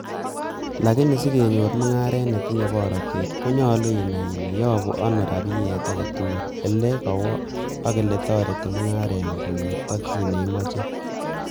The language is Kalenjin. Lakini sekenyor mung'aret netinye borotet, konyolu inai ile yobu ano rabiyet agetugul, ele kowo ak eletoretito mung'arengung konyor tokyin neimoche .